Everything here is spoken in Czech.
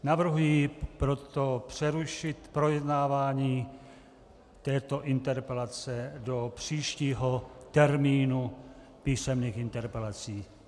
Navrhuji proto přerušit projednávání této interpelace do příštího termínu písemných interpelací.